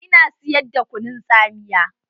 Ina siyar da kunun tsamiya.